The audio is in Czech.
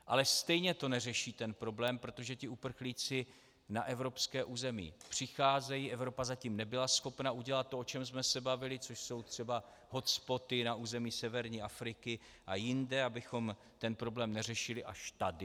Ale stejně to neřeší ten problém, protože ti uprchlíci na evropské území přicházejí, Evropa zatím nebyla schopna udělat to, o čem jsme se bavili, což jsou třeba hotspoty na území severní Afriky a jinde, abychom ten problém neřešili až tady.